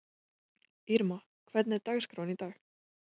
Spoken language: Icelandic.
Irma, hvernig er dagskráin í dag?